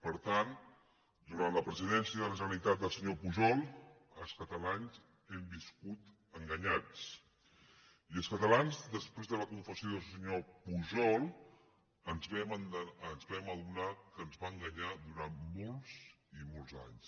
per tant durant la presidència de la generalitat del senyor pujol els catalans hem viscut enganyats i els catalans després de la confessió del senyor pujol ens vam adonar que ens va enganyar durant molts i molts anys